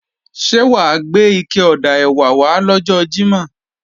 Ṣé wà á gbé ike ọ̀dà ẹ̀wà wá lọ́jọ́ Jímọ̀?